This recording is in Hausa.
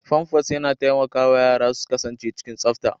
Famfas yana taimakawa yara su kasance cikin tsafta.